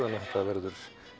að þetta verður